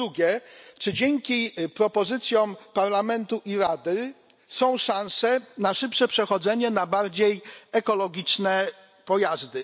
Po drugie czy dzięki propozycjom Parlamentu i Rady są szanse na szybsze przechodzenie na bardziej ekologiczne pojazdy?